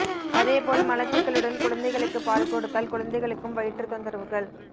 அதே போல் மலச்சிக்கலுடன் குழந்தைகளுக்கு பால் கொடுத்தால் குழந்தைகளுக்கும் வயிற்று தொந்தரவுகள்